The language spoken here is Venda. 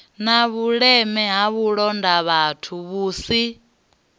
na vhuleme ha vhulondavhathu vhusi